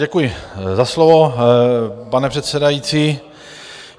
Děkuji za slovo, pane předsedající.